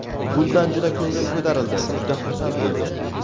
Bundan juda ko‘nglim ko‘tarildi, juda xursand bo‘ldim.